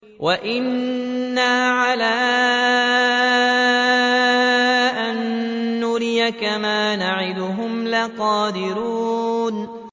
وَإِنَّا عَلَىٰ أَن نُّرِيَكَ مَا نَعِدُهُمْ لَقَادِرُونَ